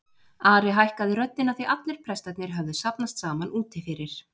Ari hækkaði röddina því allir prestarnir höfðu safnast saman úti fyrir.